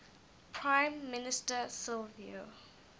prime minister silvio